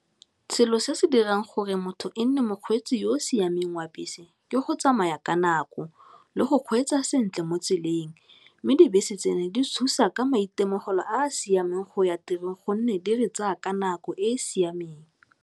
Selo se se dirang gore motho e nne mokgweetsi yo o siameng wa bese ke go tsamaya ka nako, le go kgweetsa sentle mo tseleng mme dibese tseno di thusa ka maitemogelo a a siameng go ya tirong gonne di re tsaya ka nako e e siameng.